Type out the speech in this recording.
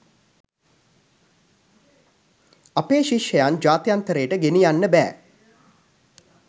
අපේ ශිෂ්‍යයන් ජාත්‍යන්තරයට ගෙනියන්න බෑ.